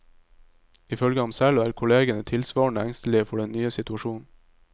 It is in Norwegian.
Ifølge ham selv, er kollegene tilsvarende engstelige for den nye situasjonen.